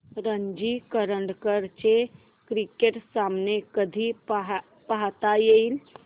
रणजी करंडक चे क्रिकेट सामने कधी पाहता येतील